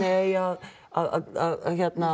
eigi að að